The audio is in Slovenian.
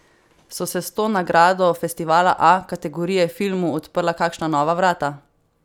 So se s to nagrado festivala A kategorije filmu odprla kakšna nova vrata?